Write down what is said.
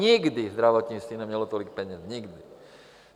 Nikdy zdravotnictví nemělo tolik peněz, nikdy.